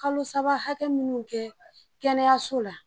Kalo saba hakɛ minnu kɛ kɛnɛyaso la